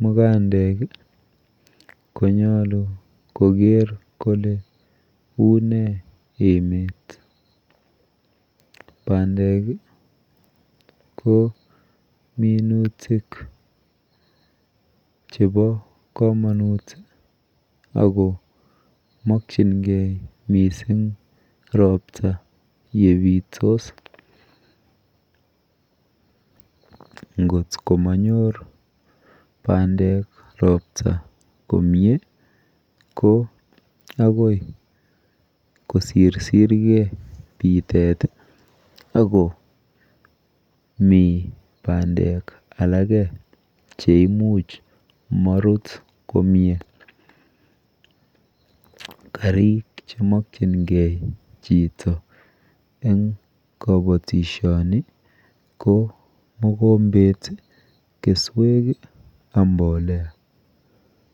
mukandek konyalu Koger Kole unei emet bandek ko minutik chebo kamanut akomakingei mising robta yebitos ngot komanyor bandek robta komie ko agoi kosirsir gei bitet ago bandek alagek cheimuch Maruti komie Garik chemakingei Chito en kabatishoni ko mogombet keswek ak mbolea